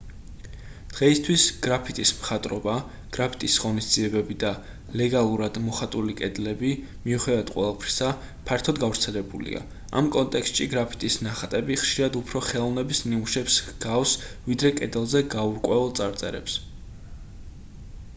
დღეისთვის გრაფიტის მხატვრობა გრაფიტის ღონისძიებები და ლეგალურად მოხატული კედლები მიუხედავად ყველაფრისა ფართოდ გავრცელებულია ამ კონტექსტში გრაფიტის ნახატები ხშირად უფრო ხელოვნების ნამუშევრებს ჰგავს ვიდრე კედელზე გაურკვეველ წარწერებს